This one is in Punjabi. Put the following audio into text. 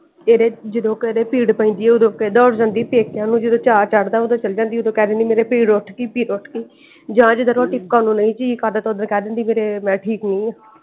ਕੇਡੇ ਜਦੋਂ ਕੇਡੇ ਪੀੜ ਪੈਂਦੀ ਆ ਓਦੋਂ ਤੇ ਦੋਹੜ ਜਾਂਦੀ ਪੇਕਿਆਂ ਨੂੰ ਜਦੋਂ ਚਾਅ ਚੜ੍ਹਦਾ ਓਦੋਂ ਚਲੀ ਜਾਂਦੀ ਓਦੋ ਕਹਿੰਦੀ ਮੇਰੇ ਪੀੜ ਉੱਠ ਗਈ ਪੀੜ ਉੱਠ ਗਈ ਜਾ ਜਿਦੋ ਰੋਟੀ ਪਕਾਉਣ ਨੂੰ ਨਹੀਂ ਜੀ ਕਰਦਾ ਤੇ ਓਦਣ ਕਹਿ ਦੇਂਦੀ ਕ ਮੈਂ ਠੀਕ ਨਹੀਂ ਆਂ।